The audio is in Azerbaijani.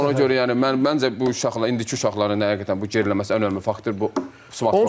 Ona görə yəni mən məncə bu uşaqların, indiki uşaqların həqiqətən bu geriləməsi ən önəmli faktordur.